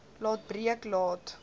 laat breek laat